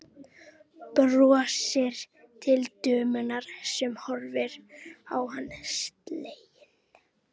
Brosir til dömunnar sem horfir á hann slegin.